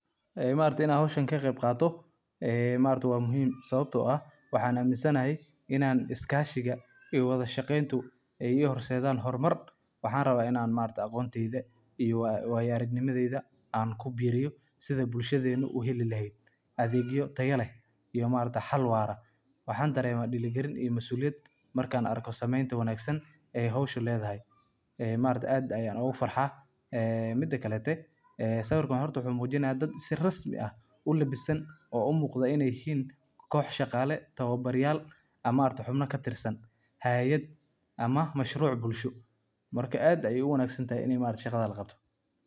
Macallimiintu waa laf-dhabarta nidaamka waxbarashada, waxayna door muhiim ah ka ciyaaraan horumarinta bulshada iyo mustaqbalka carruurta. Waxay si hagar la’aan ah u gudbiyaan aqoonta, xirfadaha, iyo anshaxa, iyagoo ardayda ku dhiirrigeliya inay bartaan una diyaar garoobaan caqabadaha nolosha. Macallimiintu waxay abuuraan jawi waxbarasho oo caafimaad qaba, halkaas oo ardaydu dareemaan kalsooni, xurmad, iyo dhiirrigelin.